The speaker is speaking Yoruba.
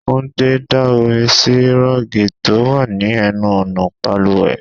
Túndé da omi sì rọ́ọ̀gì tó wà ní ẹnu ọ̀nà bàlùwẹ̀.